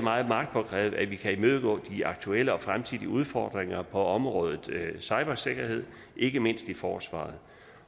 meget magtpåliggende at vi kan imødegå de aktuelle og fremtidige udfordringer på et område som cybersikkerhed ikke mindst i forsvaret